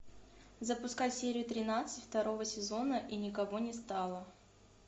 запускай серию тринадцать второго сезона и никого не стало